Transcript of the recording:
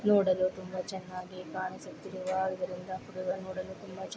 ನೋಡಲು ತುಂಬಾ ಚೆನ್ನಾಗಿ ಕಾಣಿಸುತ್ತಿರುವ ಇ ರುಂದಾಪುರವ ನೋಡಲು ತುಂಬಾನೇ